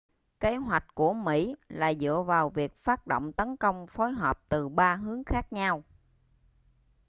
kế hoạch của mỹ là dựa vào việc phát động tấn công phối hợp từ ba hướng khác nhau